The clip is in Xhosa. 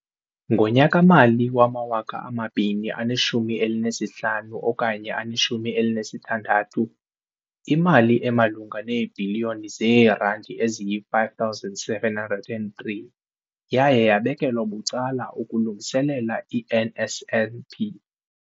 Ngonyaka-mali wama-2015, 16, imali emalunga neebhiliyoni zeerandi eziyi-5 703 yaye yabekelwa bucala ukulungiselela i-NSNP.